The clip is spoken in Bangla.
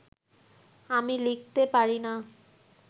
আমি লিখতে পারি না